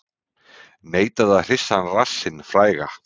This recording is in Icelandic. Neitaði að hrista rassinn fræga